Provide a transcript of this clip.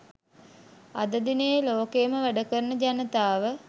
අද දිනයේ ලෝකයේම වැඩ කරන ජනතාව